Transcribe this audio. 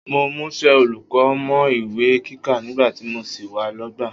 Mo múṣẹ́ olùkọ́ mọ́ ìwé kíkà nígbà tí mo sì wà lọ́gbà